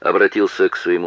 обратился к своему